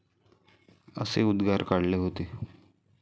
असे उद्गार काढले होते.